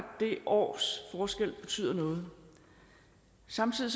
det års forskel betyder noget samtidig